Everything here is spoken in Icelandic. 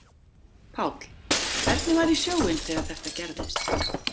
Páll: Hvernig var í sjóinn þegar þetta gerðist?